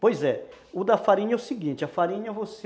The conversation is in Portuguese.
Pois é, o da farinha é o seguinte, a farinha você...